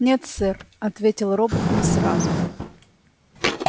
нет сэр ответил робот не сразу